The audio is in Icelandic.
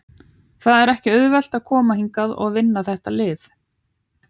Það er ekki auðvelt að koma hingað og vinna þetta lið.